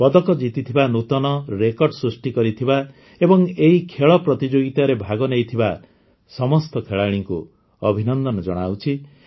ପଦକ ଜିତିଥିବା ନୂତନ ରେକର୍ଡ ସୃଷ୍ଟି କରିଥିବା ଏବଂ ଏହି ଖେଳ ପ୍ରତିଯୋଗିତାରେ ଭାଗନେଇଥିବା ସମସ୍ତ ଖେଳାଳିଙ୍କୁ ଅଭିନନ୍ଦନ ଜଣାଉଛି